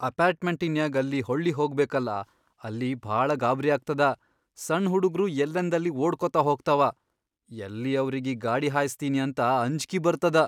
ಅಪಾರ್ಟ್ಮೆಂಟಿನ್ಯಾಗ್ ಅಲ್ಲಿ ಹೊಳ್ಳಿಹೊಗಬೇಕಲಾ ಅಲ್ಲಿ ಭಾಳ ಗಾಬ್ರ್ಯಾಗ್ತದ, ಸಣ್ ಹುಡುಗ್ರು ಯಲ್ಲಂದಲ್ಲಿ ಓಡ್ಕೋತ ಹೋಗ್ತಾವ, ಯಲ್ಲಿ ಅವ್ರಿಗಿ ಗಾಡಿ ಹಾಯ್ಸತೀನಿ ಅಂತ ಅಂಜ್ಕಿ ಬರ್ತದ.